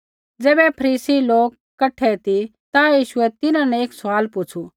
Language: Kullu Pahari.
ज़ैबै फरीसी लोका कठै ती ता यीशुऐ तिन्हां न एक सवाल पुछ़ू